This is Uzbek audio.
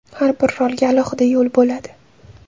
Har bir rolga alohida yo‘l bo‘ladi.